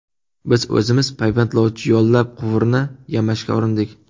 Biz o‘zimiz payvandlovchi yollab quvurni yamashga urindik.